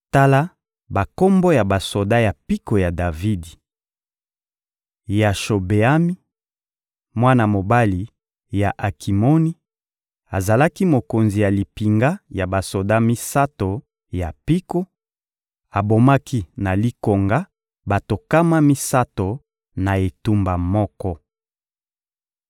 Tala bakombo ya basoda ya mpiko ya Davidi: Yashobeami, mwana mobali ya Akimoni, azalaki mokonzi ya limpinga ya basoda misato ya mpiko; abomaki na likonga bato nkama misato na etumba moko.